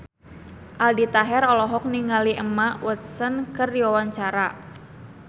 Aldi Taher olohok ningali Emma Watson keur diwawancara